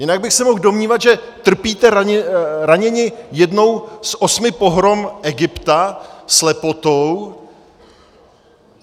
Jinak bych se mohl domnívat, že trpíte raněni jednou z osmi pohrom Egypta, slepotou.